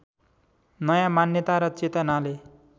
नयाँ मान्यता र चेतनाले